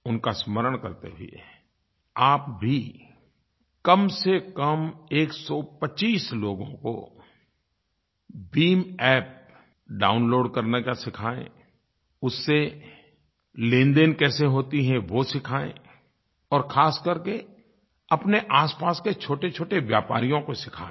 उनका स्मरण करते हुए आप भी कमसेकम 125 लोगों को भीम App डाउनलोड करने का सिखाएँ उससे लेनदेन कैसे होती है वो सिखाएँ और ख़ास करके अपने आसपास के छोटेछोटे व्यापारियों को सिखाएँ